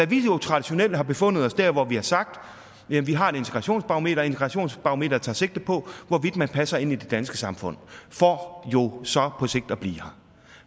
vi har jo traditionelt befundet os der hvor vi har sagt vi har et integrationsbarometer og integrationsbarometret tager sigte på hvorvidt man passer ind i det danske samfund for jo så på sigt at blive her